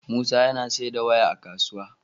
Musa yAna siyar da waya a kasuwa